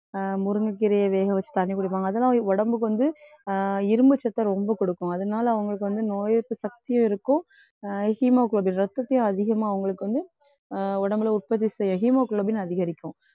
அஹ் முருங்கைக்கீரையை வேக வச்சு தண்ணி குடிப்பாங்க. அதெல்லாம் உடம்புக்கு வந்து அஹ் இரும்பு சத்தை ரொம்ப குடுக்கும். அதனால அவங்களுக்கு வந்து நோய் எதிர்ப்பு சக்தியும் இருக்கும். அஹ் hemoglobin இரத்தத்தையும் அதிகமா அவங்களுக்கு வந்து அஹ் உடம்புல உற்பத்தி செய்ய hemoglobin அதிகரிக்கும்.